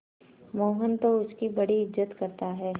मोहन तो उसकी बड़ी इज्जत करता है